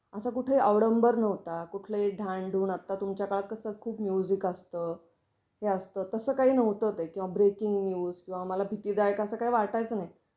असा कुठे ही अवडंबर नव्हता, कुठलाही ढांन ढुंन, आता तुमच्या काळात कसं खूप म्युजिक असतं, हे असतं, तसं काही नव्हतं ते. किंवा ब्रेकिंग न्यूज, किंवा मला भीतीदायक अस काही वाटायच नाही.